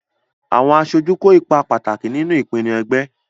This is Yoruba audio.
Àwọn aṣojú kó ipa pàtàkì nínú ìpinnu ẹgbẹ́.